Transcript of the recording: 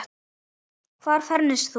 Hvar fermist þú?